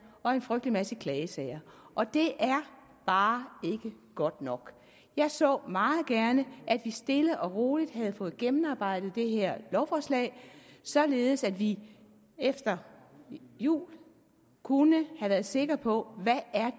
og en frygtelig masse klagesager og det er bare ikke godt nok jeg så meget gerne at vi stille og roligt havde fået gennemarbejdet det her lovforslag således at vi efter jul kunne have været sikre på hvad